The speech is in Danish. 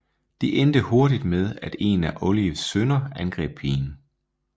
Det endte hurtigt med at en af Olives sønner angreb pigen